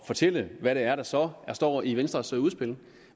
fortælle hvad det er der så står i venstres udspil